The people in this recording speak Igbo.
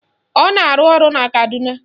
Ọ na-arụ ọrụ na Kaduna